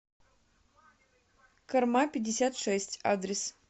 кормапятьдесятшесть адрес